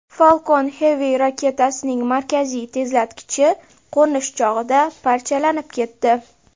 Falcon Heavy raketasining markaziy tezlatkichi qo‘nish chog‘ida parchalanib ketdi.